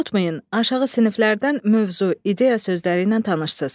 Unutmayın, aşağı siniflərdən mövzu, ideya sözləri ilə tanışsınız.